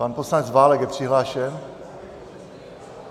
Pan poslanec Válek je přihlášen?